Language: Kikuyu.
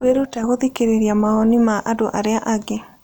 Wĩrute gũthikĩrĩria mawoni ma andũ arĩa angĩ.